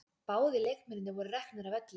Báðir leikmennirnir voru reknir af velli